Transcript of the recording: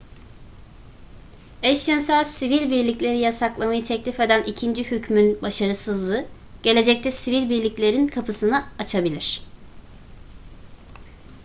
eşcinsel sivil birlikleri yasaklamayı teklif eden ikinci hükmün başarısızlığı gelecekte sivil birliklerin kapısını açabilir